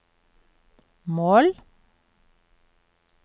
mål